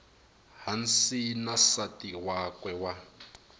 hansi na nsati wakwe wa